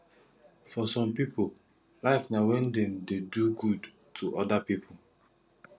for some pipo life na when dem dey do good to oda pipo